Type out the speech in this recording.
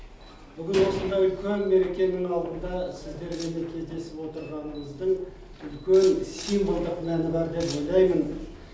бүгін осындай үлкен мерекенің алдында сіздермен кездесіп отырғанымыздың үлкен символдық мәні бар деп ойлаймын